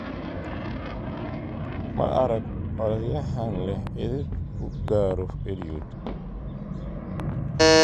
Ma arag orodyahan leh edeb uu ku garoo Eliud.